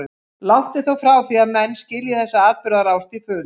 Langt er þó frá því að menn skilji þessa atburðarás til fulls.